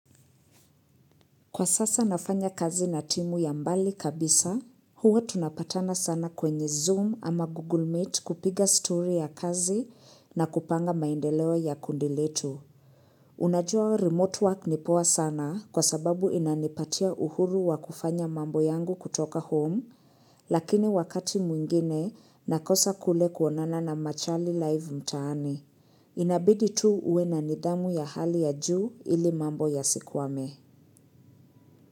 Kwa sasa nafanya kazi na timu ya mbali kabisa, huwa tunapatana sana kwenye Zoom ama Google Meet kupiga story ya kazi na kupanga maendeleo ya kundi letu. Unajua remote work ni poa sana kwa sababu inanipatia uhuru wa kufanya mambo yangu kutoka home, lakini wakati mwingine nakosa kule kuonana na machali live mtaani. Inabidi tu uwe na nidhamu ya hali ya juu ili mambo yasikwame.